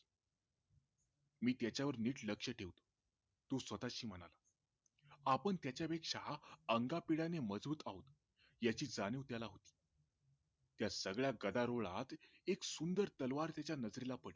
मी त्याच्यावर नीट लक्ष ठेवेन तो स्वतःशी म्हणाला आपण त्याचा पेक्षा अंगापिंडाने मजबूत आहोत याची जाणीव त्याला होती या सगळ्या गदारोळात एक सुंदर तलवार त्याच्या नजरेला पडली